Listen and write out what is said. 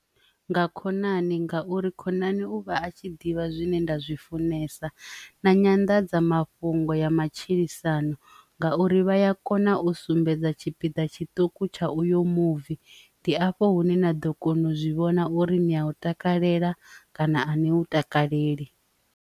Nga khonani ngauri khonani uvha a tshi ḓivha zwine nda zwi funesa na nyanḓadzamafhungo ya matshilisano ngauri vha ya kona u sumbedza tshipiḓa tshiṱuku tsha uyo muvi ndi afho hune na ḓo kona u zwi vhona uri ni a u takalela kana ane u takaleli.